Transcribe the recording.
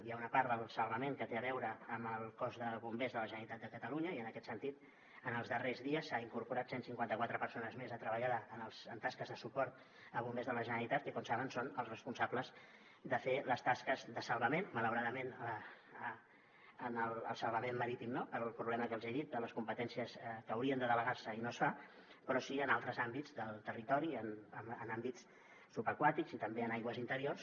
hi ha una part del salvament que té a veure amb el cos de bombers de la generalitat de catalunya i en aquest sentit en els darrers dies s’han incorporat cent i cinquanta quatre persones més a treballar en tasques de suport a bombers de la generalitat que com saben són els responsables de fer les tasques de salvament malauradament en el salvament marítim no pel problema que els he dit de les competències que haurien de delegar se i no es fa però sí en altres àmbits del territori en àmbits subaquàtics i també en aigües interiors